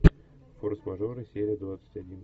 форс мажоры серия двадцать один